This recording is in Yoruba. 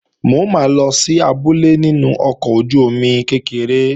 Mo máa lọ sí abúlé nínú ọkọ̀ ojú-omi kékeré